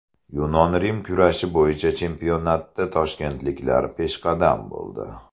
Yunon-rum kurashi bo‘yicha chempionatda toshkentliklar peshqadam bo‘ldi.